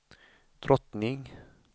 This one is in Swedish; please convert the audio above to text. drottning